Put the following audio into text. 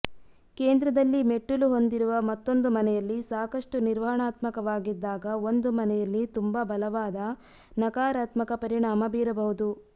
ಕೇಂದ್ರದಲ್ಲಿ ಮೆಟ್ಟಿಲು ಹೊಂದಿರುವ ಮತ್ತೊಂದು ಮನೆಯಲ್ಲಿ ಸಾಕಷ್ಟು ನಿರ್ವಹಣಾತ್ಮಕವಾಗಿದ್ದಾಗ ಒಂದು ಮನೆಯಲ್ಲಿ ತುಂಬಾ ಬಲವಾದ ನಕಾರಾತ್ಮಕ ಪರಿಣಾಮ ಬೀರಬಹುದು